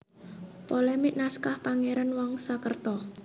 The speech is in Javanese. Polemik Naskah Pangeran Wangsakerta